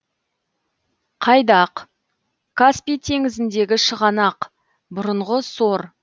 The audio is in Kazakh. қайдақ каспий теңізіндегі шығанақ бұрынғы сор